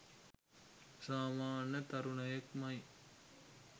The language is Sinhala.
සාමන්‍ය තරුණයෙක් මයි.